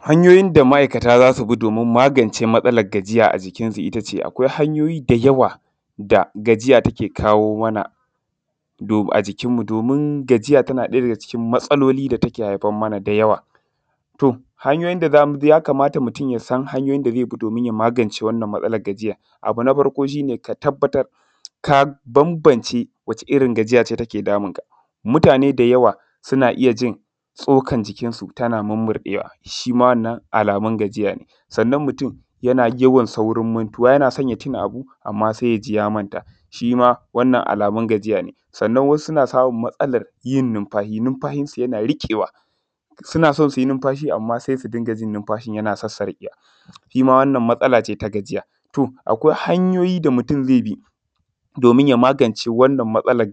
Hanyoyin da ma'aikata za su bi domin magance gajiya a jikinsu. Akwai hanyoyi da yawa da gajiya take kawo mana a jikinmu domin ɗaya daga cikin matsaloli da take haifar mana da yawa. To, ya kamata mutum ya san hanyoyin da zai magance wannan Matsala gajiyar. Abu na farko ka tabbatar ka bambance wacce irin gajiya ce take damunka, mutane da yawa suna ji tsukar jikinsu tana murmurɗewa, shi ma wannan alamun gajiya ne. Sannan mutane yana yawan saurin mantuwa yana son ya tuna abu sai ya ji ya manta Wannan alamun gajiya ne. Sannan wasu suna samun matsalar yin numfashi, numfashinsa yana rikewa suna so su yi numfashi amma sai su ji numfashin yana sassarƙewa shi ma wannan matsala ce ta gajiya. Akwai hanyoyin da mutum zai bi ya magance wannan matsala,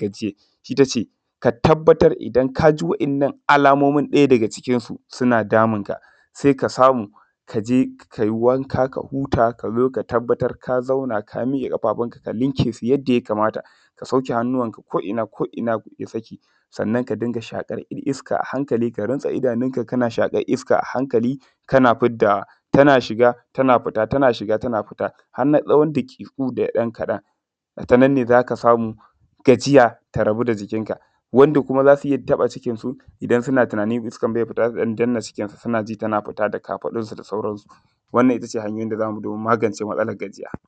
ita ce. Ka tabbatar da in ka ji waɗannan alamominsu suna damunka sai ka samu ka je ka yi wanka ka huta ka zo ka tabbatar ka zauna ka miƙe ƙafafunka ka miƙe su yadda ya kamata ka sauke hannuwanka ko'ina su saki sannan ka ka riƙa shaƙar iska a hankali ka rufe idanunka kana shaƙar iska a hankali kana fiddawa tana shiga tana fita tana shiga tana fita har na tsawon daƙiƙu kaɗan ta nan ne za ka samu gajiya ta rabu da jikinka. Wanda kuma za su yi taɓa cikinsu idan suna tunanin iskar ba ta fita su danna cikinsu suna ji tana fita da kafaɗunsu da sauransu. wannan ita ce hanyar da za mu bi domin magance matsalar gajiya.